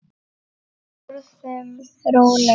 Borðum rólega.